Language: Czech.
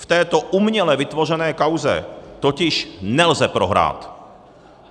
V této uměle vytvořené kauze totiž nelze prohrát.